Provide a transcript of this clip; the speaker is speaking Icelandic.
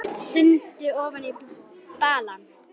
Stundi ofan í balann.